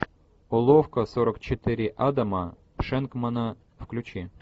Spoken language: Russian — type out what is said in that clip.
уловка сорок четыре адама шенкмана включи